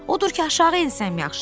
Odur ki, aşağı ensən yaxşıdır.